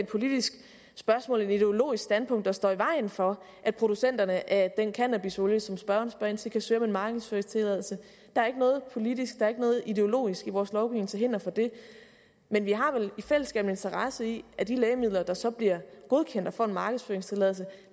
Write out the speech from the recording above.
politisk spørgsmål eller et ideologisk standpunkt der står i vejen for at producenterne af den cannabisolie som spørgeren spørger ind til kan søge om en markedsføringstilladelse der er ikke noget politisk der er ikke noget ideologisk i vores lovgivning til hinder for det men vi har vel i fællesskab en interesse i at de lægemidler der så bliver godkendt og får en markedsføringstilladelse